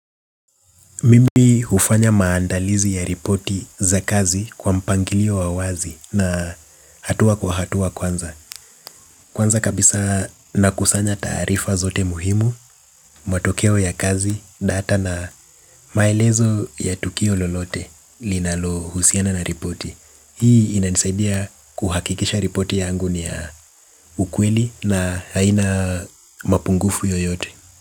Mimi hufanya maandalizi ya ripoti za kazi kwa mpangilio wa wazi na hatua kwa hatua kwanza. Kwanza kabisa nakusanya taarifa zote muhimu, matokeo ya kazi data na maelezo ya tukio lolote linalo husiana na ripoti. Hii inanisaidia kuhakikisha ripoti yangu ni ya ukweli na haina mapungufu yoyote.